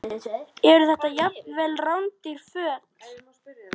Eru þetta jafnvel rándýr föt?